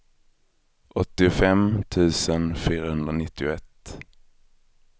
åttiofem tusen fyrahundranittioett